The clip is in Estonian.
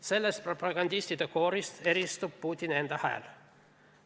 Sellest propagandistide koorist eristub Putini enda hääl.